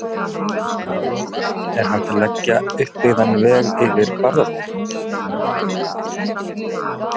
Að lokum: Er hægt að leggja uppbyggðan veg yfir Bárðarbungu?